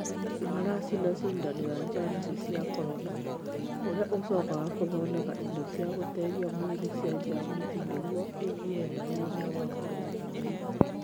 Maracina cindano ya jamusi ci a corona , ũrĩa ũcokaga ũgathondeka indo cia gũteithia mwĩrĩ cia jamuci nĩguo igĩe na hinya wa kũrũa na mĩrimũ.